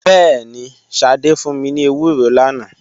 Bẹẹni, Sade fun mi ni ewuro lana.